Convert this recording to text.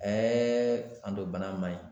anto bana man ɲi.